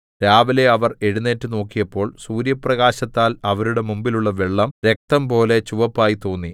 രാവിലെ അവർ എഴുന്നേറ്റ് നോക്കിയപ്പോൾ സൂര്യപ്രകാശത്താൽ അവരുടെ മുൻപിലുള്ള വെള്ളം രക്തംപോലെ ചുവപ്പായി തോന്നി